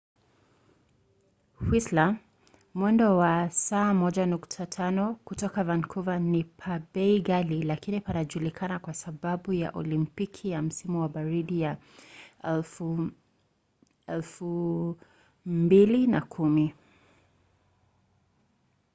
whistler mwendo wa saa 1.5 kutoka vancouver ni pa bei ghali lakini panajulikana kwa sababu ya olimpiki ya msimu wa baridi ya 2010